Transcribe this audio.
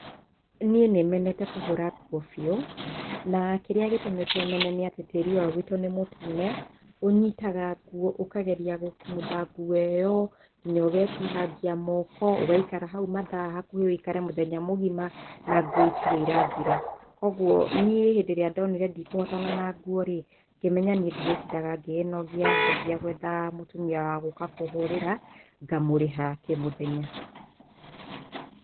Niĩ nĩ menete kũhũra nguo biũ, na kĩrĩa gĩtũmĩte mene nĩ atĩ tĩri wa gũitũ nĩ mũtune, ũnyitaga nguo ũkageria gũkumutha nguo ĩyo, nginya ũgetihangia moko, ũgaikara hau hakuhĩ matha hakuhĩ ũikare mũthenya mũgima, na nguo itirĩ irathira. Kwoguo niĩ hĩndĩ ĩrĩa ndonire ndikũhotana na nguo rĩ ngĩmenya ndirĩtindaga ngĩnogia. Ngĩambia gũetha mũtumia wa gũka akahũrĩra, ngamũrĩha na kĩmũthenya.